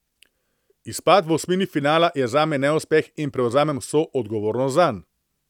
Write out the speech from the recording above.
Izpad v osmini finala je zame neuspeh in prevzamem vso odgovornost zanj.